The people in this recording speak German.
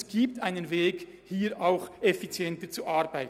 Es gibt einen Weg, hier effizienter zu werden.